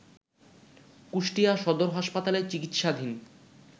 কুষ্টিয়া সদর হাসপাতালে চিকিৎসাধীন